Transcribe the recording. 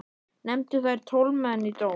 Nefndu þeir tólf menn í dóm.